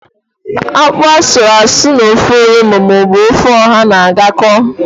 Ákpú asụrụasụ na-ofe onugbo maọbụ ofe ọha na-agakọta.